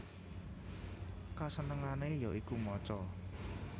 Kasenengane ya iku maca